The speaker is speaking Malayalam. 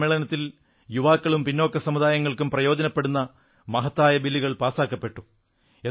ഈ സമ്മേളനത്തിൽ യുവാക്കൾക്കും പിന്നോക്ക സമുദായങ്ങൾക്കും പ്രയോജനപ്പെടുന്ന മഹത്തായ ബില്ലുകൾ പാസാക്കപ്പെട്ടു